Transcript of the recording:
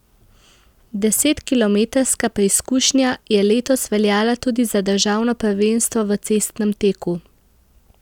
Deset kilometrska preizkušnja je letos veljala tudi za državno prvenstvo v cestnem teku.